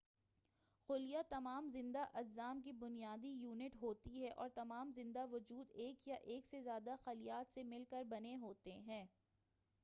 خلیہ تمام زندہ اجسام کی بنیادی یونٹ ہوتی ہے اور تمام زندہ وجود ایک یا ایک سے زیادہ خلیات سے مل کر بنے ہوتے ہیں